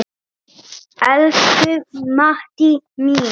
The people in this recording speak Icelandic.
Elsku Maddý mín.